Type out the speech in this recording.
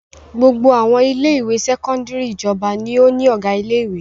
Gbogbo àwọn ilé-ìwé sẹ́kọ́ndárì ìjọba ni ó ní ọ̀gá ilé-ìwé.